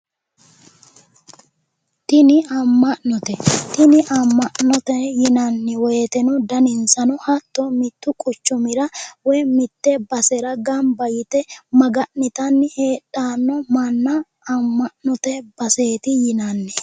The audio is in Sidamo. Tini Ama'note ,tini ama'note yinnanni woyteno daninsano hatto mitu quchumira woyi mite basera gamba yte maga'nittanni heedhano manna ama'note baseeti yinnanni